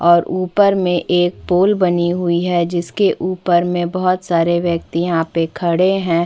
और ऊपर में एक पूल बनी हुई है जिसके ऊपर मे बहुत सारे व्यक्ति यहाँ पे खड़े है।